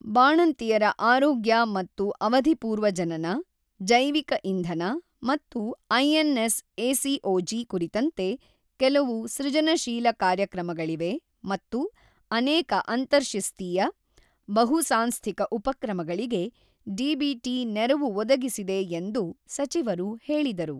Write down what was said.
ಬಾಣಂತಿಯರ ಆರೋಗ್ಯ ಮತ್ತು ಅವಧಿಪೂರ್ವ ಜನನ, ಜೈವಿಕ ಇಂಧನ ಮತ್ತು ಐಎನ್ಎಸ್ಎಸಿಒಜಿ ಕುರಿತಂತೆ ಕೆಲವು ಸೃಜನಶೀಲ ಕಾರ್ಯಕ್ರಮಗಳಿವೆ ಮತ್ತು ಅನೇಕ ಅಂತರ್ಶಿಸ್ತೀಯ, ಬಹು ಸಾಂಸ್ಥಿಕ ಉಪಕ್ರಮಗಳಿಗೆ ಡಿಬಿಟಿ ನೆರವು ಒದಗಿಸಿದೆ ಎಂದು ಸಚಿವರು ಹೇಳಿದರು.